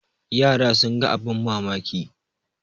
yara sun ga abin mamaki